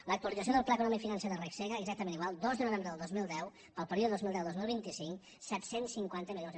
l’actualització del pla econòmic financer de regsega exactament igual dos de novembre del dos mil deu per al període dos mil deu dos mil vint cinc set cents i cinquanta milions